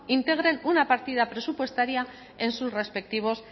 integren una partida presupuestaria en sus respectivos